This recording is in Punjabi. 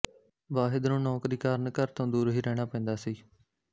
ਵਾਹਿਦ ਨੂੰ ਨੌਕਰੀ ਕਾਰਣ ਘਰ ਤੋਂ ਦੂਰ ਹੀ ਰਹਿਣਾ ਪੈਂਦਾ ਸੀ